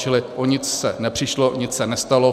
Čili o nic se nepřišlo, nic se nestalo.